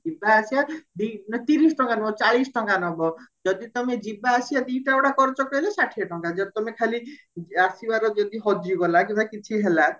ଯିବ ଆସିବା ତିରିଶ ଟଙ୍କା ନା ତିରିଶ ଟଙ୍କା ନୁହେ ଚାଳିଶ ଟଙ୍କା ନବ ଯଦି ତମେ ଯିବ ଆସିବା ଦିଟା କରିଚ କହିଲେ ଷାଠିଏ ଟଙ୍କା ଯଦି ତମେ ଆସିବାର ଯଦି ହଜିଗଲା କିମ୍ବା କିଛି ହେଲା